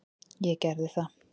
Ég gerði það.